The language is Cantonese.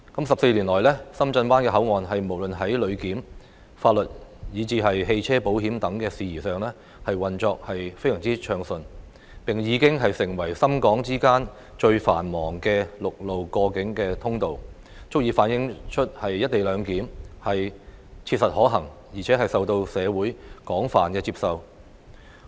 十四年來，深圳灣口岸無論在旅檢、法律，以至汽車保險等事宜上，運作得非常暢順，並已經成為深港之間最繁忙的陸路過境通道，足以反映出"一地兩檢"切實可行，而且受到社會廣泛接受。